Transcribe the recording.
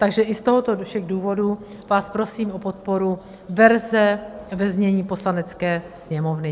Takže i z těchto všech důvodů vás prosím o podporu verze ve znění Poslanecké sněmovny.